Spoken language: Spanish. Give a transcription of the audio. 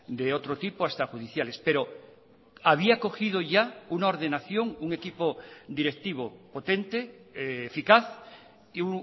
de otro tipo hasta judiciales pero había cogido ya una ordenación un equipo directivo potente eficaz y